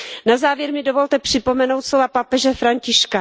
Na závěr mi dovolte připomenout slova papeže Františka.